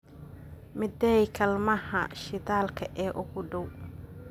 meeday kaalmaha shidaalka ee ugu dhow